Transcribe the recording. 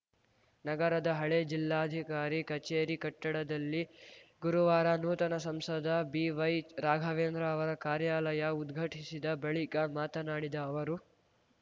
ನಗರದ ಹಳೆ ಜಿಲ್ಲಾಧಿಕಾರಿ ಕಚೇರಿ ಕಟ್ಟಡದಲ್ಲಿ ಗುರುವಾರ ನೂತನ ಸಂಸದ ಬಿವೈ ರಾಘವೇಂದ್ರ ಅವರ ಕಾರ್ಯಾಲಯ ಉದ್ಘಾಟಿಸಿದ ಬಳಿಕ ಮಾತನಾಡಿದ ಅವರು